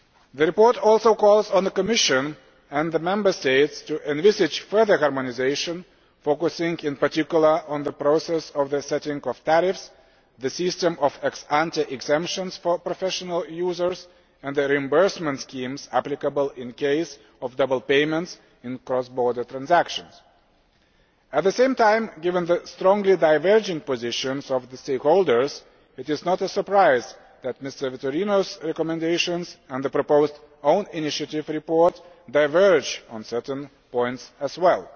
The report also calls on the Commission and the Member States to envisage further harmonisation, focusing in particular on the process of the setting of tariffs, the system of ex ante exemptions for professional users and the reimbursement schemes applicable in the event of double payments in cross border transactions. At the same time, given the strongly diverging positions of the stakeholders, it is not a surprise that MrVitorino's recommendations and the proposed own initiative report diverge on certain points as well.